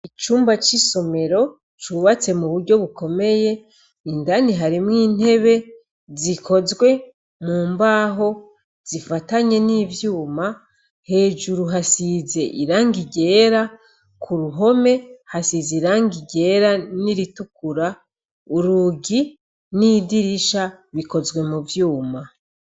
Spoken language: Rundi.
Icumba cisomero cubatswe mu buryo bukomeye Kandi harimwo intebe zikozwe mumbaho zifatanye nivyuma , hejuru irangi ryera , kuruhome irangi ryera niritukura ,urugi nidirisha bikozwe muvyuma.